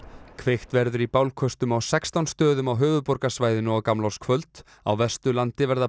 kveikt verður í bálköstum á sextán stöðum á höfuðborgarsvæðinu á gamlárskvöld á Vesturlandi verða